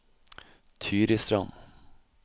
Tyristrand